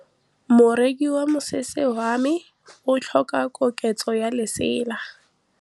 Moroki wa mosese wa me o tlhoka koketsô ya lesela.